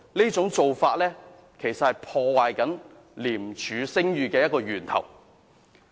這種做法其實是破壞廉署聲譽的源頭。